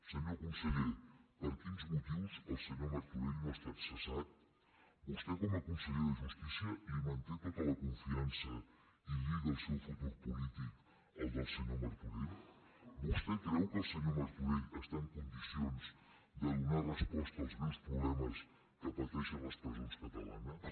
senyor conseller per quins motius el senyor martorell no ha estat cessat vostè com a conseller de justícia li manté tota la confiança i lliga el seu futur polític al del senyor martorell vostè creu que el senyor martorell està en condicions de donar resposta als greus problemes que pateixen les presons catalanes